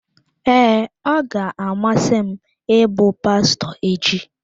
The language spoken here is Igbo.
Ee, ọ ga-amasị m ịbụ pastọ echi.